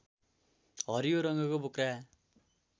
हरियो रङ्गको बोक्रा